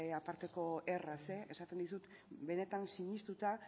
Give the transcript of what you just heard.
aparteko erraz esaten dizut benetan sinestuta